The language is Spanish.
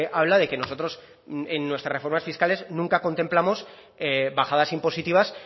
habla de que nosotros en nuestras reformas fiscales nunca contemplamos bajadas impositivas